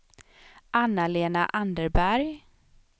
Anna-Lena Anderberg